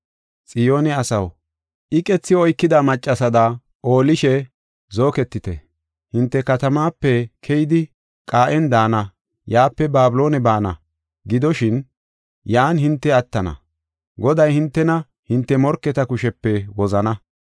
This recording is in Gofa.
Xiyoone asaw, iqethi oykida maccasada oolishe zooketite. Hinte katamaape keyidi qaa7en daana; yaape Babiloone baana. Gidoshin, yan hinte attana; Goday hintena hinte morketa kushepe wozana.